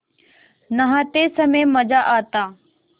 नहाते समय मज़ा आता